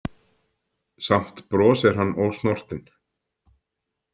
Samt brosir hann ósnortinn.